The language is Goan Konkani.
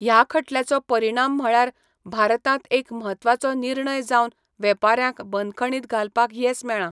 ह्या खटल्याचो परिणाम म्हळ्यार भारतांत एक म्हत्वाचो निर्णय जावन वेपाऱ्यांक बंदखणींत घालपाक येस मेळ्ळां.